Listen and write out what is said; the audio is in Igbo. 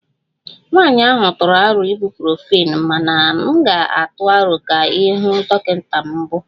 Nwanyị ahụ tụrụ aro Ibuprofen mana m ga-atụ aro ka ị hụ dọkịta na mbụ